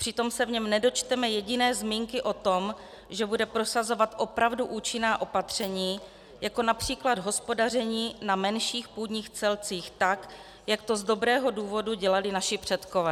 Přitom se v něm nedočteme jediné zmínky o tom, že bude prosazovat opravdu účinná opatření, jako například hospodaření na menších půdních celcích tak, jak to z dobrého důvodu dělali naši předkové.